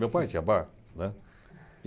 Meu pai tinha bar, né.